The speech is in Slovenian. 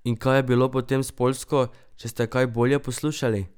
In kaj je bilo potem s Poljsko, če ste kaj bolje poslušali?